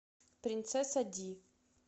принцесса ди